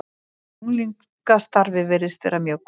Unglingastarfið virðist vera mjög gott.